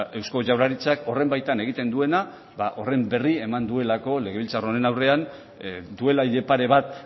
eusko jaurlaritzak horren baitan egiten duena ba horren berri eman duelako legebiltzar honen aurrean duela hile pare bat